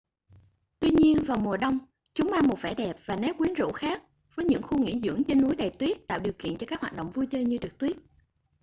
tuy nhiên vào mùa đông chúng mang một vẻ đẹp và nét quyến rũ khác với những khu nghỉ dưỡng trên núi đầy tuyết tạo điều kiện cho các hoạt động vui chơi như trượt tuyết